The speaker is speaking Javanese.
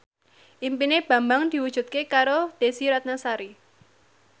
impine Bambang diwujudke karo Desy Ratnasari